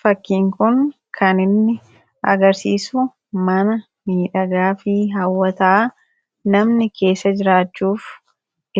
fakkiin kun kaninni agarsiisu mana miidhagaafii hawwataa namni keessa jiraachuuf